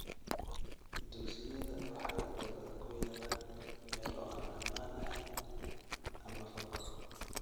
Dugsiyada waxay inta badan ku yaalaan meelo aan ammaan ahayn ama fog.